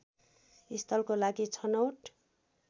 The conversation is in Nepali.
स्थलको लागि छनौट